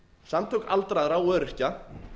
samtök aldraðra og öryrkja